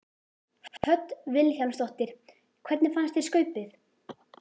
Hödd Vilhjálmsdóttir: Hvernig fannst þér Skaupið?